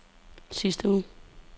sidste uge